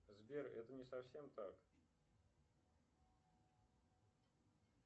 сбер это не совсем так